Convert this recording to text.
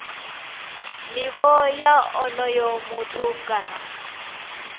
nivho ya onoyo muthu kana